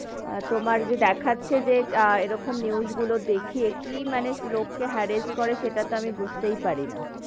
তোমার যে দেখাচ্ছে যে, আহ এরকম news গুলো দেখে কি মানে লোক কে harrest করে সেটা তো আমি বুঝতে পারি না,